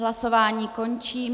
Hlasování končím.